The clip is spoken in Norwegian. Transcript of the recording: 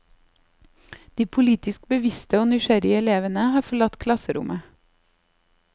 De politisk bevisste og nysgjerrige elevene har forlatt klasserommet.